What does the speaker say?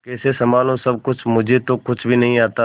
कैसे संभालू सब कुछ मुझे तो कुछ भी नहीं आता